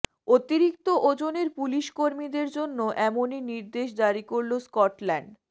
অতিরিক্ত ওজনের পুলিশকর্মীদের জন্য এমনই নির্দেশ জারি করল স্কটল্যান্ড